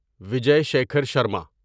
Vijay Shikhar Sharma